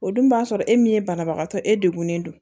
O dun b'a sɔrɔ e min ye banabagatɔ e degunen don